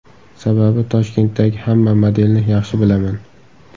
Sababi, Toshkentdagi hamma modelni yaxshi bilaman.